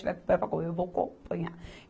E se tiver, eu vou acompanhar.